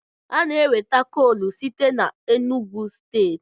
A na-enweta koolu site n'Enugwu steeti.